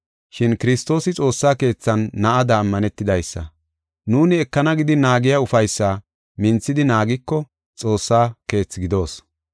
Shin Kiristoosi xoossa keethan na7ada ammanetidaysa. Nuuni ekana gidi naagiya ufaysaa minthidi naagiko Xoossaa keethi gidoos.